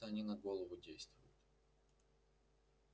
как-то они на голову действуют